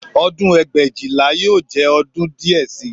Ọdún ẹgbẹ̀éjìlá yóò jẹ́ ọdún díẹ̀ sí i